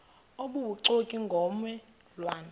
obubuxoki ngomme lwane